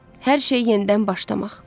Hər şey yenidən başlamaq.